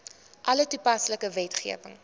alle toepaslike wetgewing